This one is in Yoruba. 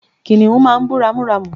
kìnìhún máà ń bú ramúramù